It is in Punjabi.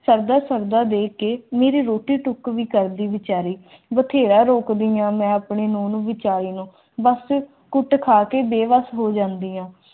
ਕਰਦਾ ਫਿਰਦਾ ਦੇਖ ਕੇ ਮੇਰੀ ਰੋਟੀ ਟੁੱਕ ਵੀ ਕਰਦੀ ਵਿਚਾਰੀ ਬਥੇਰਾ ਰੋਕਿਆਂ ਮੈਂ ਆਪਣੇਂ ਵਿਚਾਰ ਬਸ ਕੁੱਟ ਖਾ ਕ ਬੇਬਸ ਹੋ ਜਾਂਦੀ ਆ